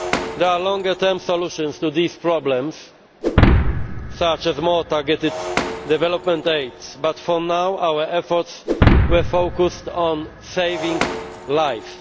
There are longer term solutions to these problems, such as more targeted development aids, but for now our efforts have been focused on saving lives.